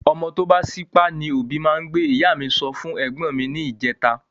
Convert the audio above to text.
Ọmọ tó bá sípá ni òbí máa n gbé ,ìyá mí sọ fún ègbón mi ni ìjeta